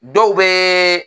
Dɔw bɛ